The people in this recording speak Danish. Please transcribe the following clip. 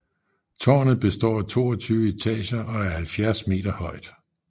Tårnet består af 22 etager og er 70 meter højt